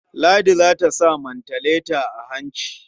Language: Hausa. Ladi za ta sa mantaleta a hanci.